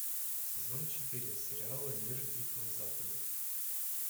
сезон четыре сериала мир дикого запада